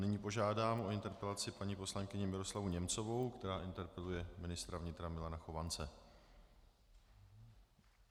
Nyní požádám o interpelaci paní poslankyni Miroslavu Němcovou, která interpeluje ministra vnitra Milana Chovance.